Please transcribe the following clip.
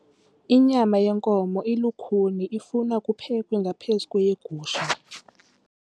Inyama yenkomo ilukhuni ifuna ukuphekwa ngaphezu kweyegusha.